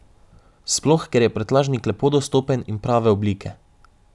Sploh, ker je prtljažnik lepo dostopen in prave oblike.